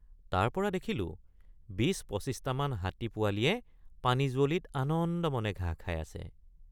তাৰপৰা দেখিলে৷ ২০।২৫টামান হাতী পোৱালিয়ে পানীযুৱলিত আনন্দমনে ঘাঁহ খাই আছে।